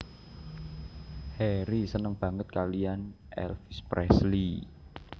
Harry seneng banget kalian Elvis Presley